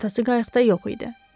Atası qayıqda yox idi.